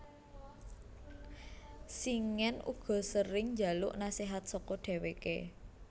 Shingen uga sering njaluk nasihat saka dheweke